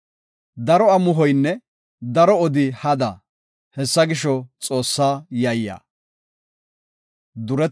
Daro amuhoynne daro odi hada. Hessa gisho, Xoossaa yayya.